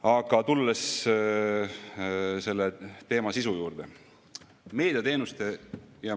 Aga tulen selle teema sisu juurde.